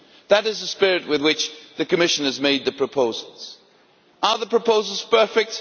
That is the spirit with which the Commission has made the proposals. Are the proposals perfect?